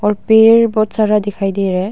और पेड़ बहुत सारा दिखाई दे रहा है।